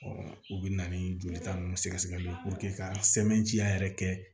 u bɛ na ni jolita ninnu sɛgɛsɛgɛliw ka sɛbɛntiya yɛrɛ kɛ